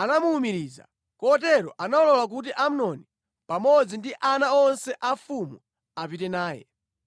anamuwumiriza, kotero analola kuti Amnoni pamodzi ndi ana onse a mfumu apite naye.